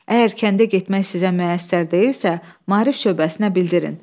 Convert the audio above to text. Əgər kəndə getmək sizə müəssər deyilsə, Maarif şöbəsinə bildirin.